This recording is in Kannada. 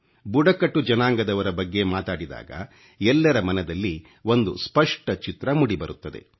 ಬುಡಕಟ್ಟು ಜನಾಂಗದವರ ಬಗ್ಗೆ ಮಾತಾಡಿದಾಗ ಎಲ್ಲರ ಮನದಲ್ಲಿ ಒಂದು ಸ್ಪಷ್ಟ ಚಿತ್ರ ಮೂಡಿಬರುತ್ತದೆ